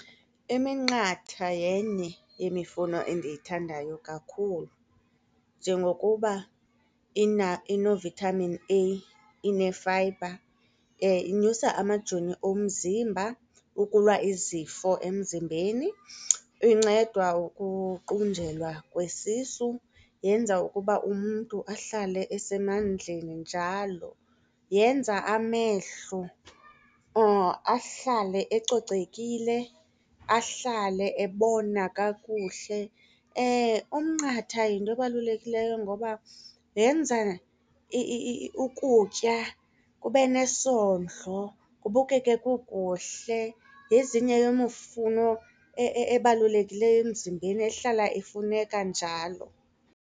Iminqatha yenye yemifuno endiyithandayo kakhulu njengokuba ino-vitamin A, ine-fibre, inyusa amajoni omzimba ukulwa izifo emzimbeni, inceda ukuqunjelwa kwesisu, yenza ukuba umntu ahlale esemandleni njalo. Yenza amehlo ahlale ecocekile, ahlale ebona kakuhle. Umnqatha yinto ebalulekileyo ngoba yenza ukutya kube nesondlo, kubukeke kukuhle. Yezinye yeemifuno ebalulekileyo emzimbeni ehlala ifuneka njalo.